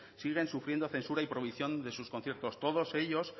siguen sufriendo censura y prohibición de sus conciertos todos ellos